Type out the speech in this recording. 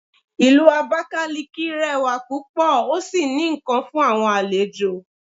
Ìlú abakaliki rẹwa púpò o sí ní nkán fún àwọn àlejò